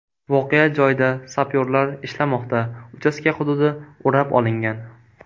Voqea joyida sapyorlar ishlamoqda, uchastka hududi o‘rab olingan.